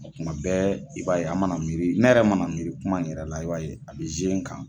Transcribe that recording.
Kuma bɛɛ i b'a ye an mana miiri ne yɛrɛ mana miiri kuma in yɛrɛ la i b'a ye a bɛ n kan.